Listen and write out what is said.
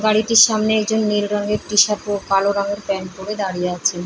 গাড়িটির সামনে একজন নীল রঙের টিশার্ট ও কালো রঙের প্যান্ট পরে দাঁড়িয়ে আছেন।